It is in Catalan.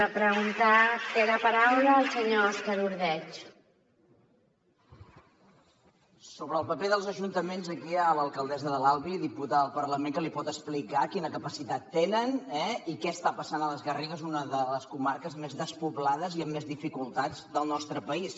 sobre el paper dels ajuntaments aquí hi ha l’alcaldessa de l’albi diputada al parlament que li pot explicar quina capacitat tenen i què està passant a les garrigues una de les comarques més despoblades i amb més dificultats del nostre país